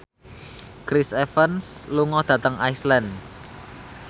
Chris Evans lunga dhateng Iceland